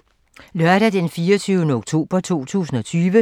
Lørdag d. 24. oktober 2020